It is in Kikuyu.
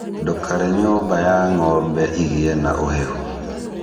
Ndũkare nyũmba ya ng'ombe igĩe na ũhehu.